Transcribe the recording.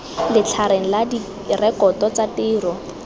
letlhareng la direkoto tsa tiro